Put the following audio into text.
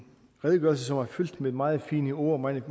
redegørelse som er fyldt med meget fine ord meget